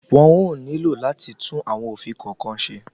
Wọn ó nílò láti tún àwọn òfin kọ̀ọ̀kan ṣe.